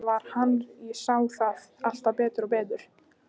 Þetta var hann, ég sá það alltaf betur og betur.